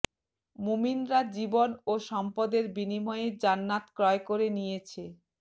মুমিনরা জীবন ও সম্পদের বিনিময়ে জান্নাত ক্রয় করে নিয়েছে